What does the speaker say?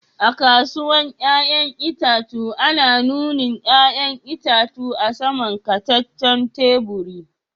A'kasuwan yayan itatuwa ana nuni'n yayan itatuwan a sama'n kataten taburi.